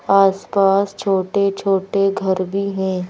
आस-पास छोटे-छोटे घर भी हैं।